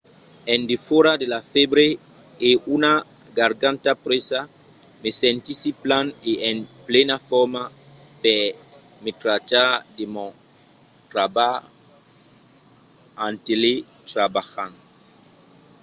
en defòra de la fèbre e una garganta presa me sentissi plan e en plena forma per me trachar de mon trabalh en teletrabalhant